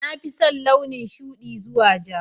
Na fi son launin shuɗi zuwa ja